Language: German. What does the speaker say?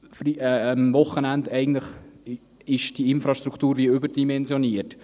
Am Wochenende ist diese Infrastruktur eigentlich überdimensioniert.